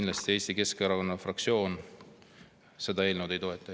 Ja Eesti Keskerakonna fraktsioon kindlasti seda eelnõu ei toeta.